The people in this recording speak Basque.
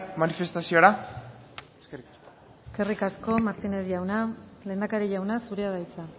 manifestaziora eskerrik asko eskerrik asko martínez jauna lehendakari jauna zurea da hitza